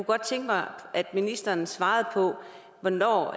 godt tænke mig at ministeren svarede på hvornår